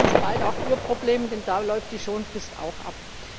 Und das ist bald auch Ihr Problem, denn da läuft die Schonfrist auch ab.